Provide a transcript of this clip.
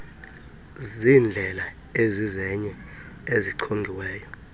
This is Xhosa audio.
zindlela ezizenye ezichongiweyo